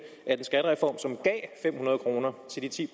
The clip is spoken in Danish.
at en skattereform som gav fem hundrede kroner til de ti